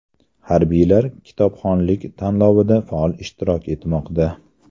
Harbiylar kitobxonlik tanlovida faol ishtirok etmoqda .